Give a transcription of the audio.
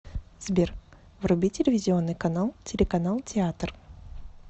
сбер вруби телевизионный канал телеканал театр